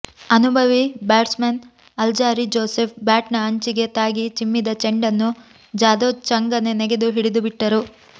ಅನುಭವಿ batsman Alzarri Joseph ಬ್ಯಾಟ್ನ ಅಂಚಿಗೆ ತಾಗಿ ಚಿಮ್ಮಿದ ಚೆಂಡನ್ನು ಜಾಧವ್ ಚಂಗನೆ ನೆಗೆದು ಹಿಡಿದುಬಿಟ್ಟರು